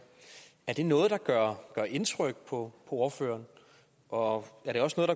er det noget der gør indtryk på ordføreren og